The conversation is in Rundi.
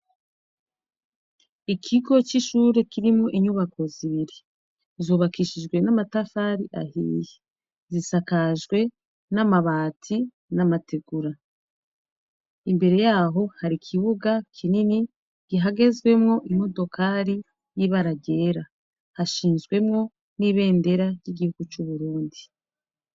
Ikigo c'ishure kirimwo inyubako zibiri zubakishijwe n'amatafari ahihi zisakajwe n'amabati n'amategura imbere yaho hari ikibuga kinini gihagezwemwo imodokali y'ibarargyera hashinzwemwo n'ibendera ry'igihugu c'uburundi.